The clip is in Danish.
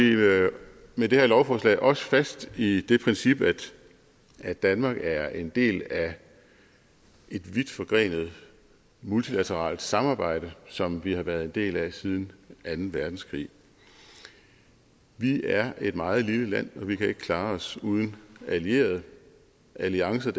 med det her lovforslag også fast i det princip at danmark er en del af et vidtforgrenet multilateralt samarbejde som vi har været en del af siden anden verdenskrig vi er et meget lille land og vi kan ikke klare os uden allierede alliancer